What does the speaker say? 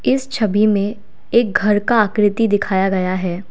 इस छवि में एक घर का आकृति दिखाया गया है।